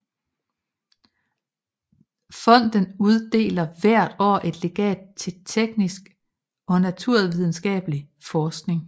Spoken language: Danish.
Fonden uddeler hvert år et legat til teknisk og naturvidenskabelig forskning